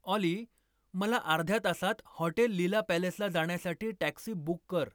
ऑली मला अर्ध्या तासात हॉटेल लीला राजवाडाला जाण्यासाठी टॅक्सी बुक कर